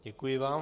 Děkuji vám.